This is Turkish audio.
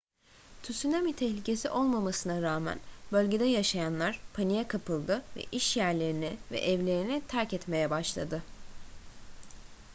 tsunami tehlikesi olmamasına rağmen bölgede yaşayanlar paniğe kapıldı ve işyerlerini ve evlerini terk etmeye başladı